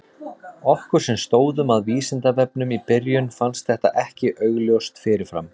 Okkur sem stóðum að Vísindavefnum í byrjun fannst þetta ekki augljóst fyrir fram.